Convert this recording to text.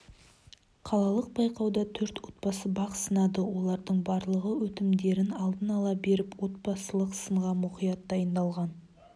қалалық байқауда төрт отбасы бақ сынады олардың барлығы өтінімдерін алдын ала беріп отбасылық сынға мұқият дайындалған